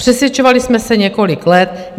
Přesvědčovali jsme se několik let.